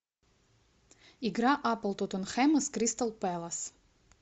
игра апл тоттенхэма с кристал пэлас